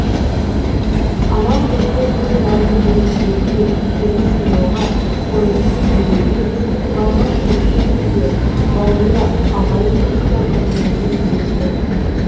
анам бізді бір нанды бөліп жеуге үлкенді сыйлауға орынсыз күлмеуге барға шүкіршілік етуге бауырды ағайын туысты қадірлеуге үйретті